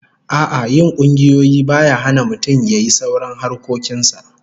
A'a, yin kungiyoyi baya hana mutum yayi sauran harkokin sa